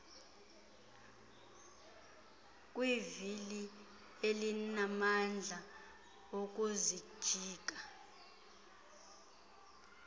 kwivili elinamandla okuzijika